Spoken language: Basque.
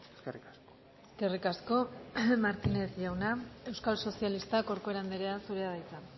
eskerrik asko eskerrik asko martínez jauna euskal sozialistak corcuera andrea zurea da hitza